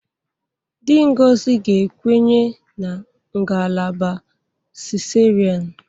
Di Ngozi ga-ekwenye na ngalaba cesarean